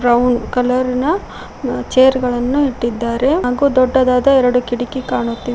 Brown colour ನ chair ಗಳನು ಇಟ್ಟಿದ್ದಾರೆ ಹಾಗೂ ದೊಡ್ಡದಾದ ಎರಡು ಕಿಡಕಿ ಕಾಣುತಿವೆ.